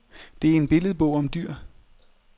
Det er en billedbog om dyr.